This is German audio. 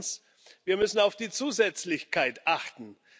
Zweitens Wir müssen auf die Zusätzlichkeit achten.